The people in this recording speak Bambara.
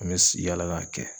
An bɛ s yaala k'a kɛ.